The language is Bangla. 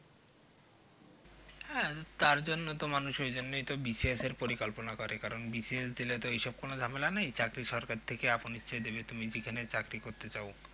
হ্যাঁ তারজন্যই তো মানুষ ঐজন্যই তো মানুষ B C S এর পরিকল্পনা করে কারণ B C S দিলে তো ওইসব কোনো ঝামেলা নেই চাকরি সরকার থেকে আপন ইচ্ছায় দেবে তুমি যেখানে চাকরী করতে চাও